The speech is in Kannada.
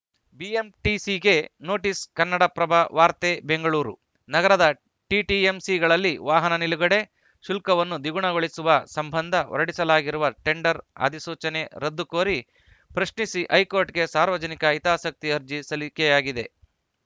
ಬಿಎಂಟಿಸಿಗೆ ನೋಟಿಸ್‌ ಕನ್ನಡಪ್ರಭ ವಾರ್ತೆ ಬೆಂಗಳೂರು ನಗರದ ಟಿಟಿಎಂಸಿಗಳಲ್ಲಿ ವಾಹನ ನಿಲುಗಡೆ ಶುಲ್ಕವನ್ನು ದ್ವಿಗುಣಗೊಳಿಸುವ ಸಂಬಂಧ ಹೊರಡಿಸಲಾಗಿರುವ ಟೆಂಡರ್‌ ಅಧಿಸೂಚನೆ ರದ್ದು ಕೋರಿ ಪ್ರಶ್ನಿಸಿ ಹೈಕೋರ್ಟ್‌ಗೆ ಸಾರ್ವಜನಿಕ ಹಿತಾಸಕ್ತಿ ಅರ್ಜಿ ಸಲ್ಲಿಕೆಯಾಗಿದೆ